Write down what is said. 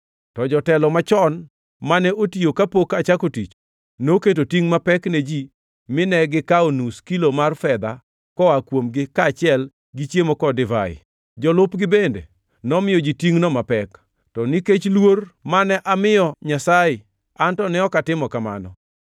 To jotelo machon, mane otiyo kapok achako tich, noketo tingʼ mapek ne ji mine gikawo nus kilo mar fedha koa kuomgi kaachiel gi chiemo kod divai. Jolupgi bende nomiyo ji tingʼno mapek. To nikech luor mane amiyo Nyasaye an to ne ok atimo kamano.